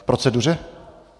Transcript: K proceduře?